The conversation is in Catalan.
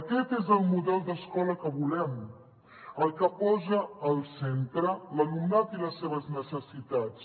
aquest és el model d’escola que volem el que posa al centre l’alumnat i les seves necessitats